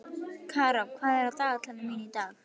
Karó, hvað er á dagatalinu mínu í dag?